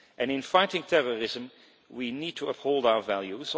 In fighting terrorism, we need to uphold our values.